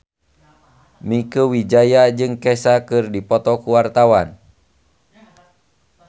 Mieke Wijaya jeung Kesha keur dipoto ku wartawan